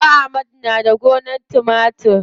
Baba amadu na da gonar timatiri.